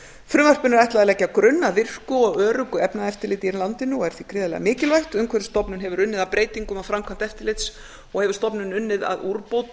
frumvarpinu er ætlað að leggja grunn að virku og öruggu efnaeftirliti í landinu og er því gríðarlega mikilvægt umhverfisstofnun hefur unnið að breytingum á framkvæmd eftirlits og hefur stofnunin unnið að úrbótum